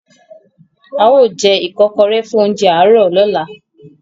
Ao je ikokore fun ounjẹ aro lola